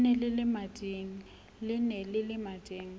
le ne le le mading